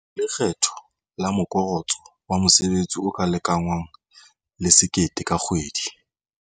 Lekgetho la Morokotso wa Mosebetsi o ka lekangwang le R1 000 ka kgwedi.